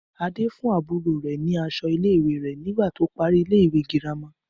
Adé fún àbúrò rẹ̀ ní aṣọ ilé ìwé rẹ̀ nígbà tó parí ilé ìwé girama